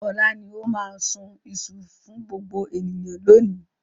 Ọlá ni ó máa sun iṣu fún gbogbo ènìyàn lónìí.